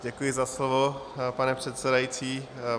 Děkuji za slovo, pane předsedající.